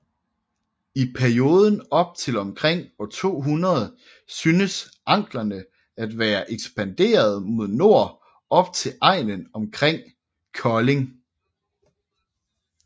I perioden op til omkring år 200 synes anglerne at være ekspanderet mod nord op til egnen omkring Kolding